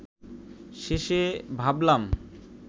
শেষে ভাবলাম